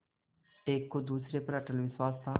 एक को दूसरे पर अटल विश्वास था